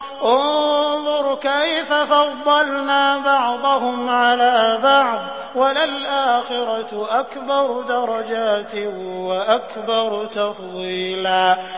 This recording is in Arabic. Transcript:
انظُرْ كَيْفَ فَضَّلْنَا بَعْضَهُمْ عَلَىٰ بَعْضٍ ۚ وَلَلْآخِرَةُ أَكْبَرُ دَرَجَاتٍ وَأَكْبَرُ تَفْضِيلًا